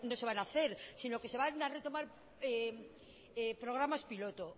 se van a hacer sino que se van a retomar programas piloto